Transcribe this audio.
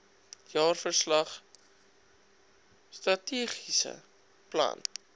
jaarverslag strategiese plan